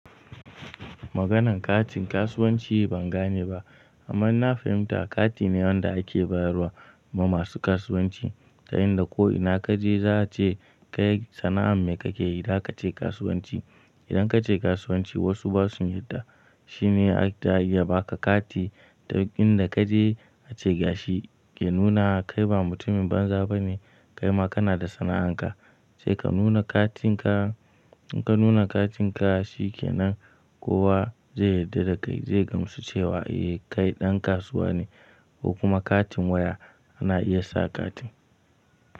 Maganin katin kasuwanci ban gane ba amma na fahimta kati ne wanda ake bayarwa ma masu kasuwanci. Ta yanda ko ina kaje za a ce kai sana'an me kake yi? Da kace kasuwanci. Idan kace kasuwanci wasu ba su yarda, shine a iya baka kati. Inda kaje ace gashi ke nuna kai ba mutumin banza bane kaima kana da sana'an ka. Sai ka nuna katin ka, in ka nuna katin ka shi kenan kowa zai yarda dakai zai gamsu cewa eh kai ɗan kasuwa ne ko kuma katin waya ana iya sa kati.